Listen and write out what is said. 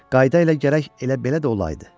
Qayda ilə gərək elə belə də olaydı.